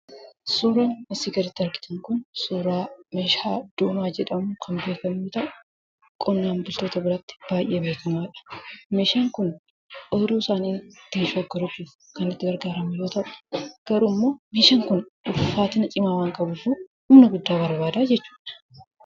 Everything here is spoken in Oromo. Suuraan asii gaditti argitan kun, suuraa meeshaa doomaa jedhamuun kan beekkamu yoo ta'u, qonnaan bultoota biratti baayyee beekkamaadha. Meeshaan kun ooyiruu isaanii ittiin shoggoruuf kan itti gargaaramnu yoo ta'u, garuummoo meeshaan kun ulfaatina cimaa waan qabuufi humna guddaa barbaada jechuudha.